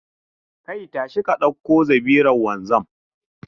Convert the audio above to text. Kai, tashi ka dauko zabiran wanzam.